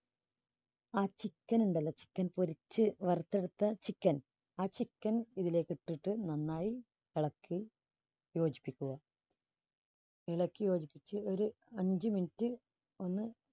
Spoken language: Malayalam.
ആ chicken ഉണ്ടല്ലോ chicken പൊരിച്ച് വറുത്തെടുത്ത chicken ആ chicken ഇതിലേക്ക് ഇട്ടിട്ട് നന്നായി ഇളക്കി യോജിപ്പിക്കുക. ഇളക്കി യോജിപ്പിച്ച് ഒരു അഞ്ചു minute ഒന്ന്